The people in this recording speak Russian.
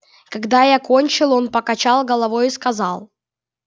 когда я кончил он покачал головою и сказал